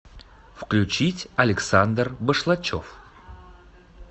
включить александр башлачев